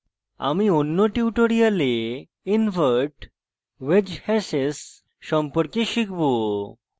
আমি অন্য tutorial invert wedge hashes সম্পর্কে শিখব